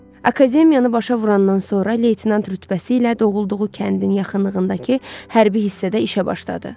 Akademiyanı başa vurandan sonra leytenant rütbəsi ilə doğulduğu kəndin yaxınlığındakı hərbi hissədə işə başladı.